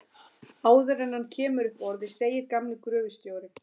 Áður en hann kemur upp orði segir gamli gröfustjórinn